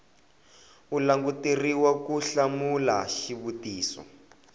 u languteriwa ku hlamula xivutiso